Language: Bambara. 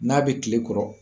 N'a bɛ kile kɔrɔ